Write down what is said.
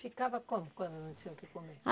Ficava como quando não tinha o que comer?